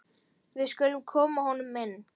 Við skulum koma honum inn!